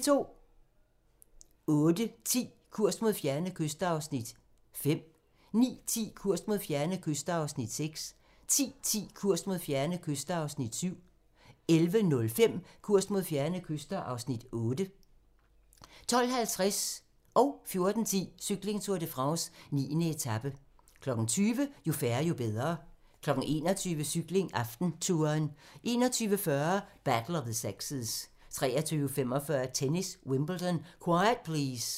08:10: Kurs mod fjerne kyster (Afs. 5) 09:10: Kurs mod fjerne kyster (Afs. 6) 10:10: Kurs mod fjerne kyster (Afs. 7) 11:05: Kurs mod fjerne kyster (Afs. 8) 12:50: Cykling: Tour de France - 9. etape 14:10: Cykling: Tour de France - 9. etape 20:00: Jo færre, jo bedre 21:00: Cykling: AftenTouren 21:40: Battle of the Sexes 23:45: Tennis: Wimbledon - quiet please!